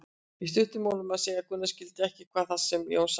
Í stuttu máli má segja að Gunna skilji ekki það sem Jón er að segja.